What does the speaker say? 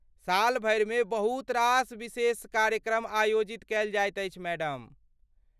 सालभरिमे बहुत रास विशेष कार्यक्रमआयोजित कएल जाइत अछि, मैडम।